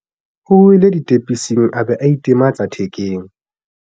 o wele ditepising a be a itematsa thekeng